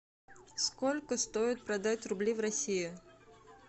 сколько стоит продать рубли в россии